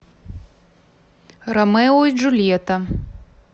ромео и джульетта